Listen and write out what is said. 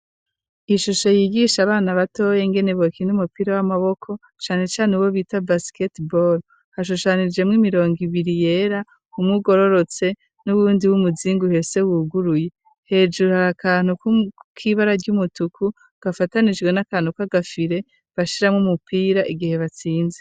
Ishusho yigisha abana batoyi ingene bokina umupira w'amaboko cane cane uwo bita basikete bore, hashushanijemwo imirongo ibiri yera umwe ugororotse n'uwundi w'umuzingi uhese wuguruye, hejuru hari akantu k'ibara ry'umutuku gafatanijwe n'akantu k'agafire bashiramwo umupira igihe batsinze.